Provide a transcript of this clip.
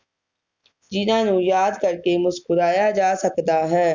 ਜਿਨ੍ਹਾਂ ਨੂੰ ਯਾਦਾਂ ਕਰਕੇ ਮੁਸਕੁਰਾਇਆ ਜਾ ਸਕਦਾ ਹੈ